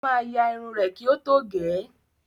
Ó máa ya irun rẹ kí ó tó gẹ̀ ẹ́.